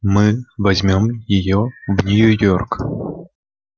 мы возьмём её в нью-йорк